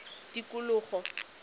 tikologo